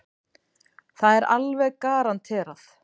Það er alveg garanterað.